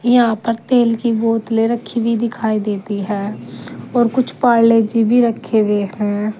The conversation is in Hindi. यहां पर तेल की बोतलें रखी भी दिखाई देती है और कुछ पारले जी भी रखे हुए हैं।